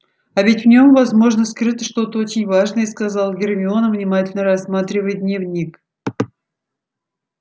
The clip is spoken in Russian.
а ведь в нем возможно скрыто что-то очень важное сказала гермиона внимательно рассматривая дневник